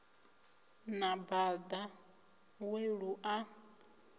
na bada we lu a